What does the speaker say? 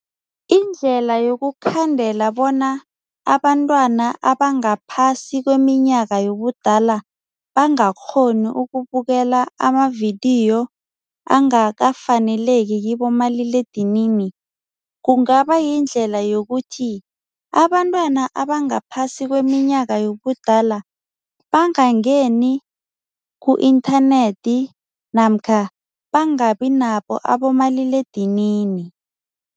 Indlela yokukhandela bona abantwana abangaphasi kweminyaka yobudala bangakghoni ukubukela amavidiyo angakafaneleki kibomaliledinini, kungaba yindlela yokuthi abantwana abangaphasi kweminyaka yobudala bangangeni ku-inthanethi namkha bangabi nabo abomaliledinini.